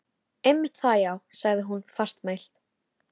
Einmitt það, já sagði hún fastmælt.